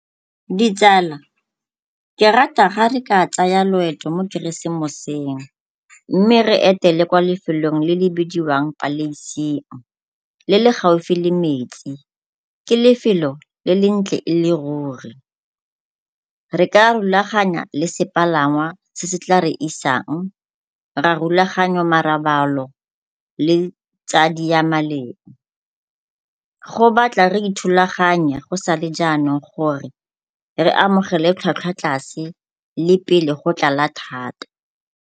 Ditsala, ke rata ga re ka tsaya loeto mo keresemoseng mme re etele kwa lefelong le bidiwang le le gaufi le metsi, ke lefelo le le ntle e le ruri. Re ka rulaganya le sepalangwa se se tla re isang ra rulaganya marobalo le tsa diamaleng. Go batla re ithulaganye go sa le jaanong re amogele tlhwatlhwa tlase le pele go tlala thata.